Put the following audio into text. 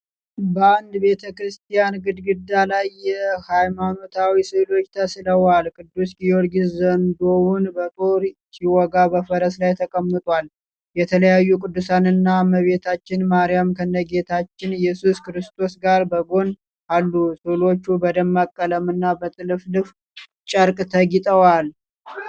በአንድ ቤተክርስቲያን ግድግዳ ላይ የሃይማኖታዊ ሥዕሎች ተስለዋል። ቅዱስ ጊዮርጊስ ዘንዶውን በጦር ሲወጋ በፈረስ ላይ ተቀምጧል። የተለያዩ ቅዱሳን እና እመቤታችን ማርያም ከነጌታችን ኢየሱስ ክርስቶስ ጋር በጎን አሉ። ሥዕሎቹ በደማቅ ቀለምና በጥልፍልፍ ጨርቅ ተጊጠዋል።